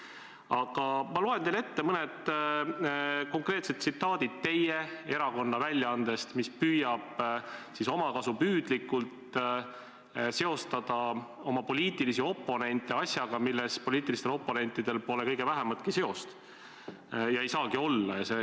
Aga ma loen teile ette mõned konkreetsed tsitaadid teie erakonna väljaandest, mis püüab omakasupüüdlikult seostada oma poliitilisi oponente asjaga, millega poliitilistel oponentidel pole kõige vähematki seost ja ei saagi olla.